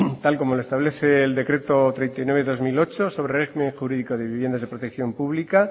tal como lo establece el decreto treinta y nueve barra dos mil ocho sobre régimen jurídico de viviendas de protección pública